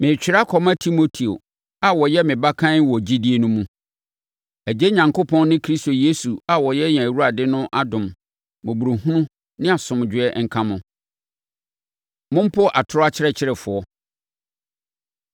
Meretwerɛ akɔma Timoteo a ɔyɛ me ba kann wɔ gyidie no mu: Agya Onyankopɔn ne Kristo Yesu a ɔyɛ yɛn Awurade no adom, mmɔborɔhunu ne asomdwoeɛ nka mo. Mompo Atorɔ Akyerɛkyerɛfoɔ